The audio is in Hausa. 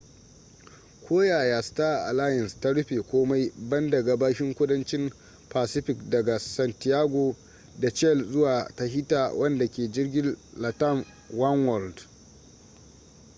koyaya star alliance ta rufe komai banda gabashin kudancin pacific daga santiago de chile zuwa tahiti wanda ke jirgin latam oneworld